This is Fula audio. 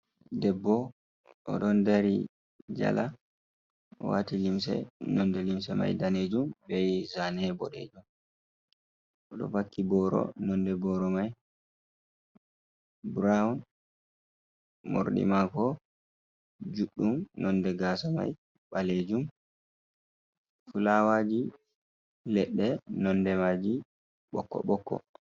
Debbo, o ɗon dari jala waati limse nonnde limse may daneejum bee zaane boɗeejum. O ɗo vakki booro nonnde booro may burawn. Morɗi maako juuɗɗum, nonnde gaasa may ɓaleejum. Fulaawaaji leɗɗe nonnde maaji ɓokko-ɓokko.